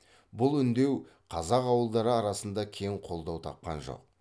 бұл үндеу қазақ ауылдары арасында кең қолдау тапқан жоқ